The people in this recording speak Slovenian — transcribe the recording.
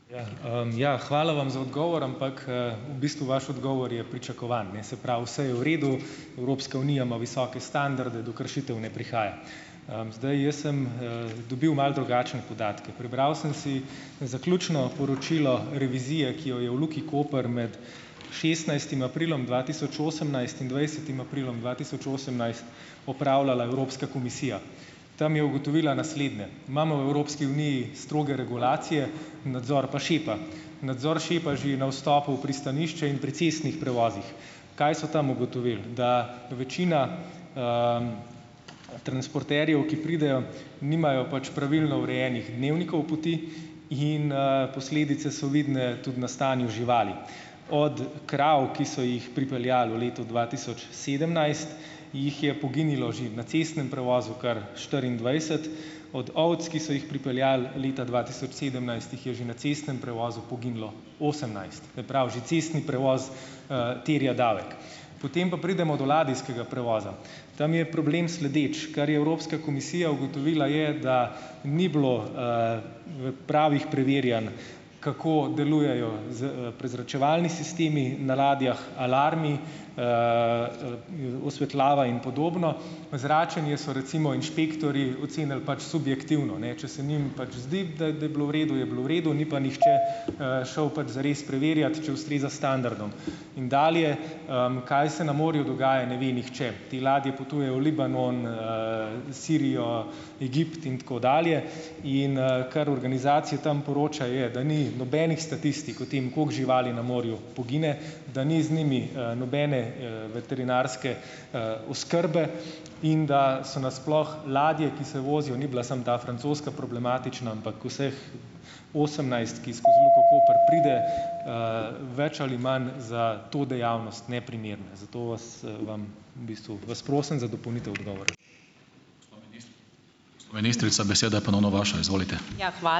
Ja, ja. Hvala vam za odgovor, ampak, v bistvu vaš odgovor je pričakovan, ne. Se pravi, vse je v redu, Evropska unija ima visoke standarde, do kršitev ne prihaja. Zdaj, jaz sem, dobil malo drugačne podatke. Prebral sem si zaključno poročilo revizije, ki jo je v Luki Koper med šestnajstim aprilom dva tisoč osemnajst in dvajsetim aprilom dva tisoč osemnajst opravljala Evropska komisija. Tam je ugotovila naslednje. Imamo v Evropski uniji stroge regulacije, nadzor pa šepa. Nadzor šepa že na vstopu v pristanišče in pri cestnih prevozih. Kaj so tam ugotovil? Da večina, transporterjev, ki pridejo, nimajo pač pravilno urejenih dnevnikov poti in, posledice so vidne tudi na stanju živali. Od krav, ki so jih pripeljal v letu dva tisoč sedemnajst, jih je poginilo že na cestnem prevozu kar štiriindvajset, od ovac, ki so jih pripeljali leta dva tisoč sedemnajst, jih je že na cestnem prevozu poginilo osemnajst. prav, že cestni prevoz, terja davek. Potem pa pridemo do ladijskega prevoza. Tam je problem sledeč. Kar je Evropska komisija ugotovila je, da ni bilo, pravih preverjanj kako delujejo prezračevalni sistemi na ladjah, alarmi, osvetljava in podobno. Zračenje so recimo inšpektorji ocenili pač subjektivno, ne. Če se njim pač zdi, da da je bilo v redu, je bilo v redu, ni pa nihče, šel pač zares preverjat, če ustreza standardom. In dalje. Kaj se na morju dogaja, ne ve nihče. Te ladje potujejo v Libanon, Sirijo, Egipt in tako dalje, in, kar organizacije tam poročajo, je, da ni nobenih statistik o tem, koliko živali na morju pogine, da ni z njimi, nobene, veterinarske, oskrbe, in da so na sploh ladje, ki se vozijo, ni bila samo ta francoska problematična, ampak vseh osemnajst, ki skoz Luko Koper pride, , več ali manj za to dejavnost neprimerna, zato vas, vam v bistvu vas prosim za dopolnitev odgovora.